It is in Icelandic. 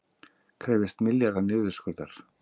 Krefjast milljarða niðurskurðar